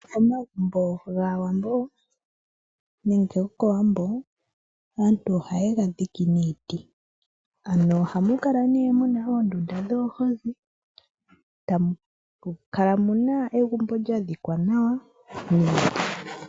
Omagumbo gaawambo nenge gokowambo aantu ohaye ga dhike niiti ano ohamu kala muna oondunda dhoohozi, tamu kala muna egumbo lya dhikwa nawa niiti.